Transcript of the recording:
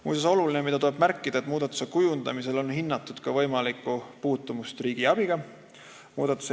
Muuseas, olulisena tuleb märkida, et muudatuse kavandamisel on hinnatud ka võimalikku puutumust riigiabiga.